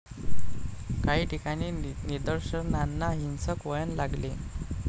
काही ठिकाणी निदर्शनांना हिंसक वळण लागले.